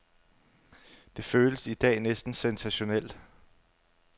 Det føles i dag næsten sensationelt.